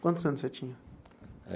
Quantos anos você tinha?